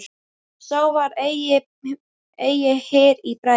Sá var eigi hýr í bragði.